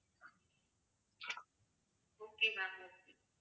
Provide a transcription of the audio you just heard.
okay ma'am okay